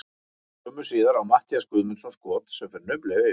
Skömmu síðar á Matthías Guðmundsson skot sem fer naumlega yfir.